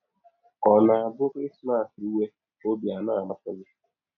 Ka ọ̀ na - abụ Krismas rụwe, ọbi ana - amapụ gị?